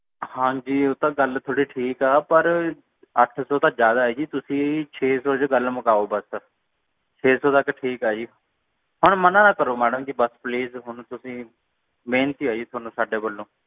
ਹਾਂਜੀ ਓ ਤਾ ਗੱਲ ਤੁਹਾਡੀ ਠੀਕ ਏ ਅੱਠ ਸੌ ਤਾਂ ਜ਼ਯਾਦਾ ਹੈ ਜੀ ਤੁਸੀਂ ਛੇ ਸੌ ਚ ਗੱਲ ਮੁਕਾਓ ਬੱਸ ਛੀ ਸੌ ਤੱਕ ਠੀਕ ਏ ਜੀ ਹੁਣ ਮਨ ਨਾ ਕਰੋ please ਤੁਸੀਂ ਮੈਡਮ ਜੀ ਬੇਨਤੀ ਹੈ ਤੁਹਾਨੂੰ ਸਾਡੇ ਵੱਲੋਂ